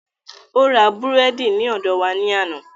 Ó ra búrẹ́dì ní ọ̀dọ wa ní àná